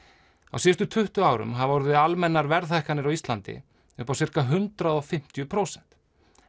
á síðustu tuttugu árum hafa orðið almennar verðhækkanir á Íslandi upp á sirka hundrað og fimmtíu prósent